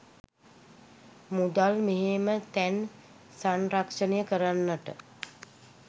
මුදල් මෙහෙම තැන් සංරක්ෂණය කරන්නට